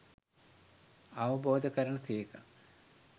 අවබෝධ කරන සේක.